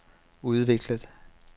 udviklet